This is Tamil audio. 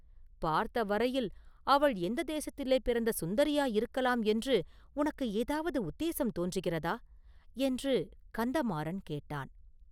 பார்த்த வரையில் அவள் எந்த தேசத்திலே பிறந்த சுந்தரியாயிருக்கலாம் என்று உனக்கு ஏதாவது உத்தேசம் தோன்றுகிறதா?” என்று கந்தமாறன் கேட்டான்.